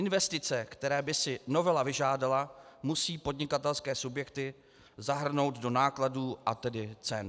Investice, které by si novela vyžádala, musí podnikatelské subjekty zahrnout do nákladů, a tedy cen.